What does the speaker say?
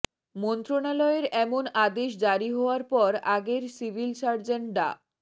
মন্ত্রণালয়ের এমন আদেশ জারি হওয়ার পর আগের সিভিল সার্জন ডা